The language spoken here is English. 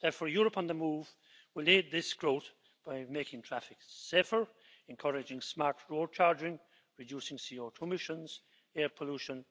Therefore Europe on the Move will aid this growth by making traffic safer, encouraging smart road charging, reducing CO2 emissions, air pollution